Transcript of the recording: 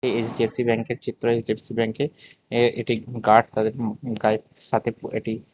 HDFC ব্যাংকের চিত্র HDFC ব্যাংকে এ এটি গার্ড তাদের গাইড সাথে এটি--